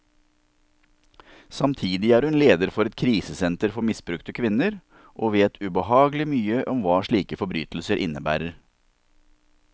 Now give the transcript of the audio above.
Samtidig er hun leder for et krisesenter for misbrukte kvinner, og vet ubehagelig mye om hva slike forbrytelser innebærer.